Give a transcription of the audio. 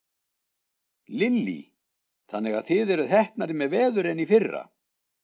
Lillý: Þannig að þið eruð heppnari með veður en í fyrra?